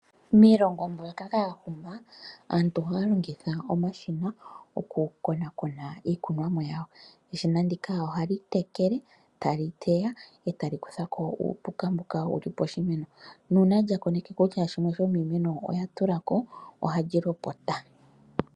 Miilongo mbyoka ya huma aantu ohaya longitha omashina oku konakona iikunomwa yawo, eshina ndika ohali tekele, tali teya, eta li kuthako uupuka mboka wuli poshimeno, nuuna lya koneke kutya shimwe sho miimeno oya tulako oha li lopota.